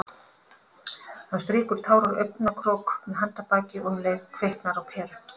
Hann strýkur tár úr augnakrók með handarbaki- og um leið kviknar á peru.